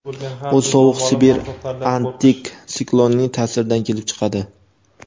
u sovuq sibir antitsiklonining ta’siridan kelib chiqadi.